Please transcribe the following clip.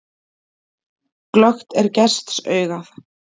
Glöggt er gests augað.